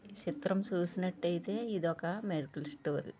చిత్రం చూసినట్టయితే ఇది ఒక మెడికల్ స్టోరు.